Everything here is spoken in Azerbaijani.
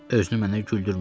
Özünü mənə güldürmə.